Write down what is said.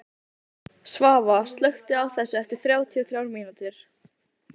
Svava, slökktu á þessu eftir þrjátíu og þrjár mínútur.